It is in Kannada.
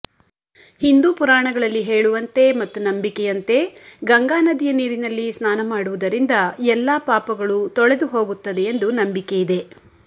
ಹಿಂದೂ ಪುರಾಣಗಳಲ್ಲಿ ಹೇಳುವಂತೆ ಮತ್ತು ನಂಬಿಕೆಯಂತೆ ಗಂಗಾ ನದಿಯ ನೀರಿನಲ್ಲಿ ಸ್ನಾನ ಮಾಡುವುದರಿಂದ ಎಲ್ಲಾ ಪಾಪಗಳು ತೊಳೆದುಹೋಗುತ್ತದೆಯೆಂದು ನಂಬಕೆಯಿದೆ